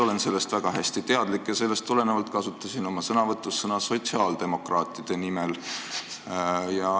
Olen sellest, mida ta mainis, väga hästi teadlik ja sellest tulenevalt kasutasin oma sõnavõtus sõnu "sotsiaaldemokraatide nimel".